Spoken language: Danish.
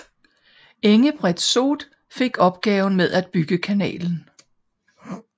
Engebret Soot fik opgaven med at bygge kanalen